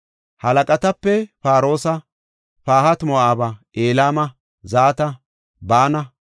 Halaqatape, Paroosa, Pahati-Moo7aba, Elama, Zata, Baana,